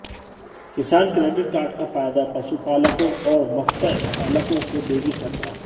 किसान credit card का फायदा पशुपालकों और मत्स्य पालकों को देगी सरकार